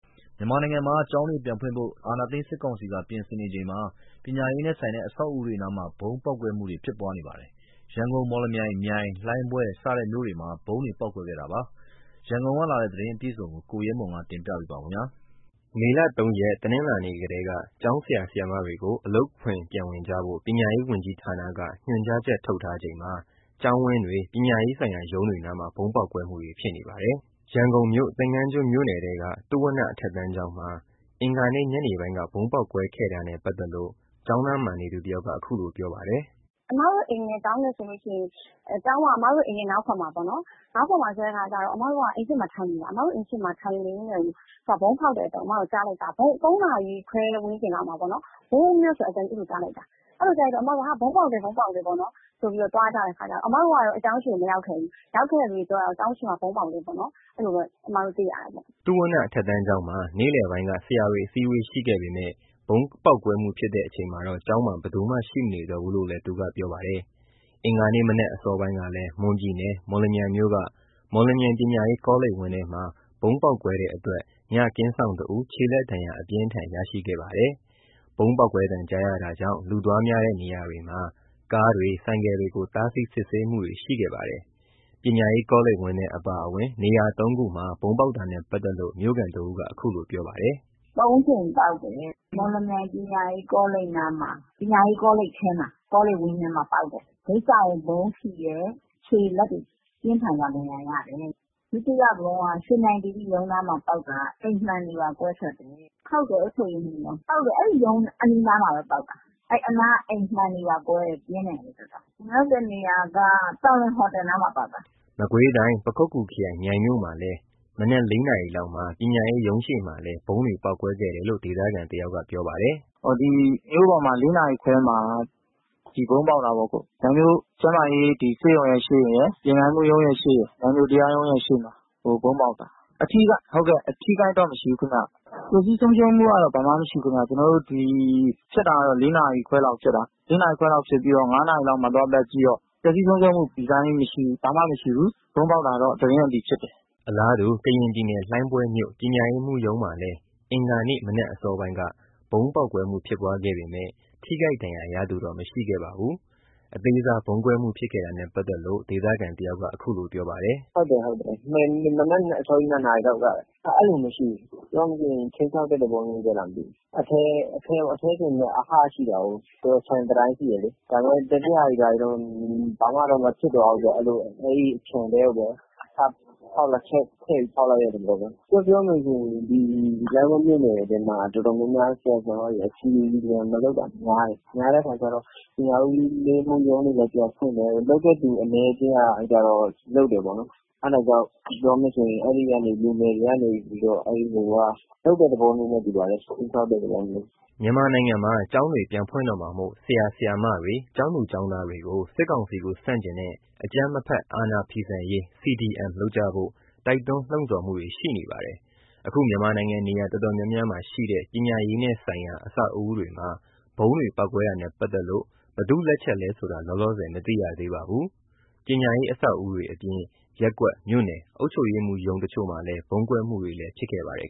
မြန်မာနိုင်ငံမှာ ကျောင်းတွေကို ပြန်ဖွင့်ဖို့ အာဏာသိမ်း စစ်ကောင်စီက ပြင်ဆင်နေချိန် ပညာရေးနဲ့ဆိုင်တဲ့ အဆောက်အဦးတွေနားမှာ ဗုံးပေါက်ပွဲမှုတွေ ဖြစ်နေပါတယ်။ ရန်ကုန်၊ မော်လမြိုင်၊ မြိုင်၊ လှိုင်းဘွဲ့စတဲ့ မြို့တွေမှာ ဗုံးတွေ ပေါက်ကွဲခဲ့တာပါ။ ရန်ကုန်ကလာတဲ့ သတင်းအပြည့်အစုံကို ကိုရဲမွန်ကတင်ပြပါမယ်။ မေလ ၃ ရက် တနင်္လာနေ့ထဲက ကျောင်းဆရာ ဆရာမတွေ အလုပ်ခွင်ပြန်ဝင်ကြဖို့ ပညာရေးဝန်ကြီးဌာနက ညွှန်ကြားချက် ထုတ်ထားချိန်မှာ ကျောင်းဝန်းတွေ၊ ပညာရေးဆိုင်ရာ ရုံးတွေနားမှာ ဗုံးပေါက်ကွဲမှုတွေဖြစ်နေပါတယ်။ ရန်ကုန်မြို့ သင်္ကန်းကျွန်းမြို့နယ်ထဲက သုဝဏ္ဏအထက်တန်းကျောင်းမှာ အင်္ဂါနေ့ ညနေပိုင်းက ဗုံးပေါက်ကွဲခဲ့တာနဲ့ ပတ်သက်လို့ ကျောင်းနားမှာနေသူတယောက်က ခုလိုပြောပြပါတယ်။ "အမတို့ အိမ်နဲ့ ကျောင်းနဲ့ဆိုရင် ကျောင်းက အမတို့ အိမ်ရဲ့ နောက်ဘက်မှာပေါ့နော်။ အမတို့က အိမ်ရှေ့မှာ ထိုင်နေတာ။ ထိုင်နေတဲ့အချိန် ၃ နာရီခွဲဝန်းကျင်လောက်မှာ ဝုန်းခနဲ့ဆို ကြားလိုက်တာ။ အဲ့ဒီလိုကြားတော့ဟာ ဗုံးပေါက်တယ်ဆိုပြီးတော့ သွားကြတာပေါ့။ အမတို့ကတော့ ကျောင်းရှေ့ထိ မရောက်ခဲ့ဘူး။ ရောက်ခဲ့တဲ့သူတွေ ပြောတာကတော့ ကျောင်းဝင်းထဲမှာ ဗုံးပေါက်တယ်ပေါ့ အမတို့ အဲ့ဒီလို သိရတယ်ပေါ့။" သုဝဏ္ဏအထက်တန်းကျောင်းမှာ နေ့လယ်ပိုင်းက ဆရာတွေ အစည်းအဝေးရှိခဲ့ပေမဲ့ ပေါက်ကွဲမှုဖြစ်တဲ့အချိန်မှာတော့ ကျောင်းမှာ ဘယ်သူမှ ရှိမနေတော့ဘူးလို့လည်း သူကပြောပါတယ်။ အင်္ဂါနေ့ မနက်အစောပိုင်းကလည်း မွန်ပြည်နယ် မော်လမြိုင်မြို့က မော်လမြိုင်ပညာရေးကောလိပ်ဝန်းထဲမှာ ဗုံးပေါက်ကွဲတဲ့အတွက် ညကင်းစောင့်တစ်ဦး ခြေလက်ဒဏ်ရာအပြင်းအထန်ရရှိခဲ့ပါတယ်။ ဗုံးပေါက်ကွဲသံကြားရတာကြောင့် လူသွားများတဲ့နေရာတွေမှာ ကားတွေ ဆိုင်ကယ်တွေကို တားဆီး စစ်ဆေးမှုတွေ ရှိခဲ့ပါတယ်။ ပညာရေးကောလိပ်ဝန်းထဲ အပါအဝင် နေရာ ၃ ခုမှာ ဗုံးပေါက်တာနဲ့ပါတ်သက်လို့ မြို့ခံတစ်ဦးက ခုလို ပြောပါတယ်။ “သုံးကြိမ်ပေါက်တယ်။ မော်လမြိုင်ပညာရေးကောလိပ်နားမှာ ကော်လိပ်ထဲမှာ၊ ကောလိပ်ဝန်းကျင်မှာ ပေါက်တယ်။ ဂိတ်စောင့်ကို ဗုံးထိတယ်။ ခြေလက်တွေ ပြင်းထန်စွာဒဏ်ရာတယ်တဲ့ ဒုတိယဗုံးက ရွှေမြိုင်သီရိရုံးနားမှာ ပေါက်တာ အိမ်မှန်တွေပါ ကွဲထွက်တယ်။ ဟုတ်တယ် အုပ်ချုပ်ရေးမှူးရုံး ဟုတ်တယ်။ အဲ့ဒီရုံးနားမှာပဲ ပေါက်တာ အဲ့ဒီအနားက အိမ်မှန်တွေပါကွဲတယ်။ ပြင်းတယ်တော်တော်။ နောက်တစ်နေရာက သံလွင်ဟိုတယ်နားမှာ ပေါက်တာ။” မကွေးတိုင်း၊ ပခုက္ကူခရိုင်၊ မြိုင်မြို့မှာလည်း မနက် ၄ နာရီလောက်မှာ ပညာရေးမှူးရုံးရှေ့ အပါအဝင် ဗုံးတွေ ပေါက်ကွဲခဲ့တယ်လို့ ဒေသခံက ပြောပါတယ်။ “ဒီမြို့ပေါ်မှာ ၄ နာရီခွဲမှာ ဒီဗုံးပေါက်တာပေ့ါ။ မြိုင်မြို့ကျန်းမာရေးဒီဆေးရုံရဲ့ရှေ့ရယ်၊ ပညာရေးမှူးရုံးရော။ မြိုင်မြို့တရားရုံးရှေ့မှာ ဗုံးပေါက်တာ အထိအခိုက်တော့ မရှိဘူးခင်ဗျ။ ပျက်စီးဆုံးရှုံးမှုက ဘာမှမရှိဘူးခင်ဗျ။ ကျနော်တို့ ဒီဖြစ်တာက ၄ နာရီခွဲလောက်ဖြစ်တာ။ ၄ နာရီခွဲလောက်ဖြစ်တော့ ၅ နာရီလောက်မှာ သွားပတ်ကြည့်တော့ ပျက်စီးမှု မရှိဘူး။ ဘာမှမရှိဘူး။ ဗုံးပေါက်တာတော့ သတင်းက အတည်ဖြစ်တယ်။” အလားတူ ကရင်ပြည်နယ် ၊ လှိုင်းဘွဲမြို့ ပညာရေးမှူးရုံးမှာလည်း အင်္ဂါနေ့ မနက်အစောပိုင်းက ဗုံးပေါက်ကွဲမှုဖြစ်ပွားခဲ့ပေမဲ့ ထိခိုက် ဒဏ်ရာရသူတော့ မရှိခဲ့ပါဘူး။ အသေးစား ဗုံးကွဲမှုဖြစ်ခဲ့တာနဲ့ ပတ်သက်လို့ ဒေသခံတယောက်က ခုလိုပြောပြပါတယ်။ “ဟုတ်တယ်။ ဟုတ်တယ်။ မနက်အစောကြီး ၂ နာရီလောက်က။ အဲ့ဒီလို မရှိဘူး။ ပြောမယ်ဆိုရင် ခြိမ်းခြောက်တဲ့ သဘောမျိုးပဲလား မသိဘူး။ အဲ့ဒီအထဲပေါ့... အထဲဆိုပေမဲ့ အဟ ရှိတာကို ခြံတံတိုင်းရှိတယ်လေ။ ဒါပေမဲ့ ကျန်တဲ့ဟာတွေ၊ ဘာတွေတော့ ဘာမှ မဖြစ်သွားဘူးပေါ့။ အဲ့ဒီလို အဲ့ဒီခြံထဲကိုပဲ ဖောက်ချက်ခွဲပြီး ဖောက်လိုက်တဲ့သဘောပဲ။ ပြောပြောမယ်ဆိုရင် ဒီလှိုင်းဘွဲ့မြို့နယ်ထဲမှာ တော်တော်များများ ဆရာ ၊ဆရာမတွေ CDM မလုပ်တာ များတယ်။ များတဲ့အခါကျတော့ ပညာဦးစီးမှူးရုံးတွေလည်း ပြန်ဖွင့်တယ်။ လုပ်တဲ့သူ အနည်းအကျဉ်းကကျတော့ လုပ်တယ်ပေါ့နော်။ အဲ့ဒါကြောင့် ပြောမယ်ဆိုရင် အဲ့ဒီကနေ လူငယ်တွေကနေပြီးတော့ ခြိမ်းခြောက်တဲ့သဘောမျိုးလုပ်တဲ့ သဘောမျိုးနဲ့ တူပါတယ်။။” မြန်မာနိုင်ငံမှာ ကျောင်းတွေ ပြန်ဖွင့်တော့မှာမို့ ဆရာ၊ ဆရာမတွေ ကျောင်းသူ ကျောင်းသားတွေကို စစ်ကောင်စီကို ဆန့်ကျင်တဲ့ အကြမ်းမဖက် အာဏာဖီဆန်ရေး CDM လုပ်ကြဖို့ တိုက်တွန်းလှုံ့ဆော်မှုတွေ ရှိနေပါတယ်။ အခု မြန်မာနိုင်ငံနေရာတော်တော်များများမှာ ရှိတဲ့ ပညာရေးနဲ့ဆိုင်ရာ အဆောက်အဦးတွေမှာ ဗုံးတွေ ပေါက်ကွဲတာနဲ့ ပတ်သက်လို့ ဘယ်သူ့လက်ချက်လဲဆိုတာ လောလောဆယ် မသိရသေးပါဘူး။ ပညာရေးအဆောက်အဦးတွေအပြင် ရပ်ကွက် မြို့နယ် အုပ်ချုပ်ရေးမှူး ရုံးတချို့မှာ ဗုံးကွဲမှုတွေလည်း ဖြစ်ခဲ့ပါတယ်